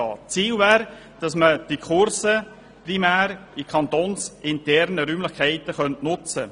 Das Ziel wäre, für die Kurse kantonsinterne Räumlichkeiten zu nutzen.